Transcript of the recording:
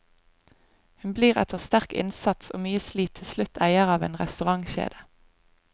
Hun blir etter sterk innsats og mye slit til slutt eier av en restaurantkjede.